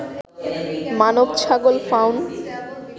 মানব-ছাগল fawn